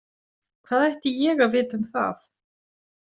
Hvað ætti ég að vita um það?